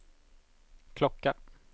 klocka